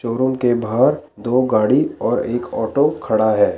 चोरों के बाहर दो गाड़ी और एक ऑटो खड़ा है।